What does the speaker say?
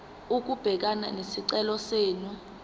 ukubhekana nesicelo senu